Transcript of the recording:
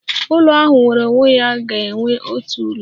Ụlọ ahụ nwere onwe ya ga-enwe otu ụlọ